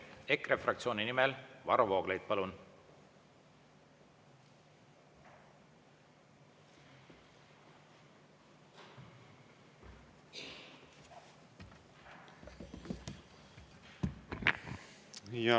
EKRE fraktsiooni nimel Varro Vooglaid, palun!